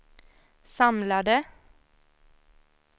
samlade